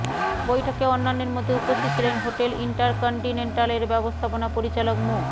বৈঠকে অন্যান্যের মধ্যে উপস্থিত ছিলেন হোটেল ইন্টারকন্টিনেন্টাল এর ব্যবস্থাপনা পরিচালক মো